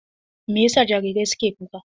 Me yasa jarirai suke kuka?